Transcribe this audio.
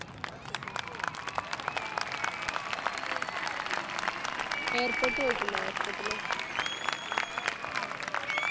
Airport പോയിറ്റുണ്ടോ Airport ല്